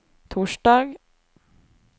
torsdag